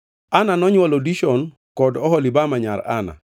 Ana nonywolo: Dishon, kod Oholibama nyar Ana.